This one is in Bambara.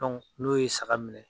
n'o ye saga minɛ.